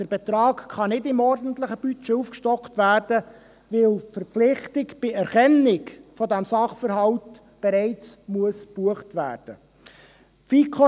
Der Betrag kann nicht im ordentlichen Budget aufgestockt werden, weil die Verpflichtung bei Erkennen dieses Sachverhalts bereits gebucht werden muss.